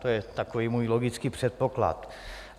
To je takový můj logický předpoklad.